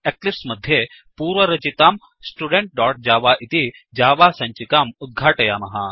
Eclipse मध्ये पूर्वरचिताम् studentजव इति जावा सञ्चिकाम् उद्घाटयामः